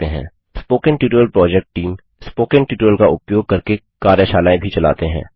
spoken tutorial project team spoken tutorial का उपयोग करके कार्यशालाएँ भी चलाते हैं